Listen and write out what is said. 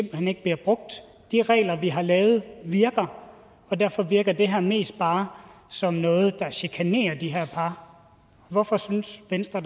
hen ikke bliver brugt de regler vi har lavet virker og derfor virker det her mest bare som noget der chikanerer de her par hvorfor synes venstre